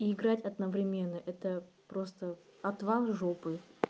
и играть одновременно это просто отвал жопы